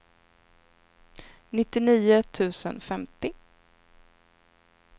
nittionio tusen femtio